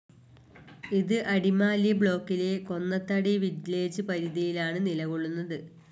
ഇത് അടിമാലി ബ്ലോക്കിലെ ‍, കൊന്നത്തടി വില്ലേജ്‌ പരിധിയിലാണ് നിലകൊള്ളുന്നത്.